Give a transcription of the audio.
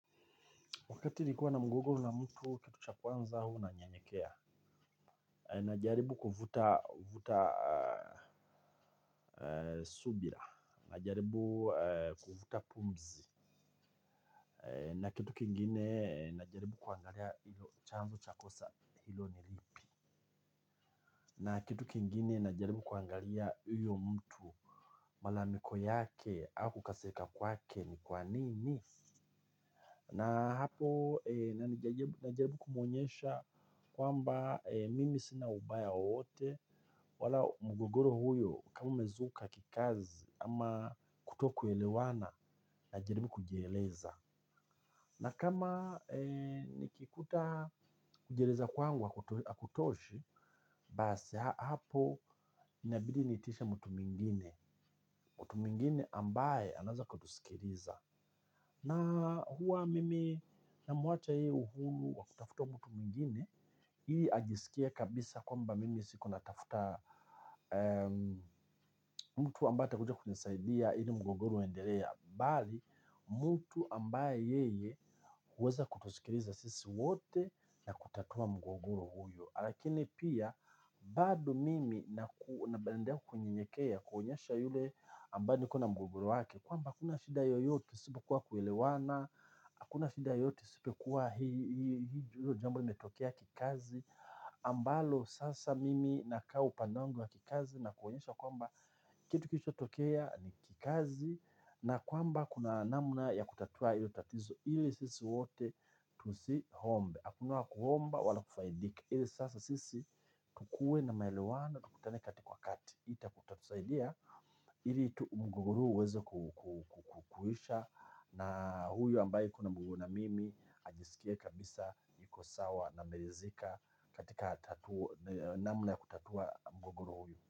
Wakati nilikuwa na mgogoro na mtu kitu cha kwanza huwa nanyenyekea. Najaribu kuvuta subira. Najaribu kuvuta pumzi. Na kitu kingine najaribu kuangalia ilo chanzo cha kosa hilo ni lipi. Na kitu kingine najaribu kuangalia huyo mtu malalamiko yake au kukasirika kwake ni kwa nini. Na hapo najaribu kumuonyesha kwamba mimi sina ubaya wowote wala mgogoro huyo kama umezuka kikazi ama kutokuelewana najaribu kujieleza. Na kama nikikuta kujieleza kwangu hakutoshi basi hapo inabidi niitishe mtu mwingine mtu mwingine ambaye anaeza kutusikiliza. Na huwa mimi namuacha yeye uhuru wa kutafuta mtu mwingine ili ajisikie kabisa kwamba mimi siko natafuta mtu ambaye atakuja kunisaidia ili mgogoro uendelee. Bali mtu ambaye yeye huweza kutusikiliza sisi wote na kutatua mgogoro huyo. Lakini pia bado mimi naendelea kunyenyekea kuonyesha yule ambaye alikuwa na mgogoro wake kwamba hakuna shida yoyote isipokuwa kuelewana, hakuna shida yoyote isipokuwa hii jambo nimetokea kikazi ambalo sasa mimi nakaa upande wangu wa kikazi na kuonyesha kwamba kitu kilichotokea ni kikazi. Na kwamba kuna namna ya kutatua hiyo tatizo ili sisi wote tusiombe. Hakuna kuomba wala kufaidika ila sasa sisi tukue na maelewano tukutane kati kwa kati. Itatatusaidia ili mgogoro huu uweze kuisha. Na huyu ambaye kuna mgogoro na mimi ajisikie kabisa niko sawa na ameridhika katika namna ys kutatua mgogoro huu.